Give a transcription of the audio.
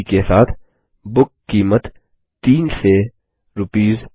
बुकिड के साथ बुक कीमत 3 से आरएस